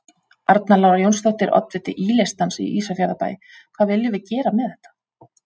Arna Lára Jónsdóttir, oddviti Í-listans í Ísafjarðarbæ: Hvað viljum við gera með þetta?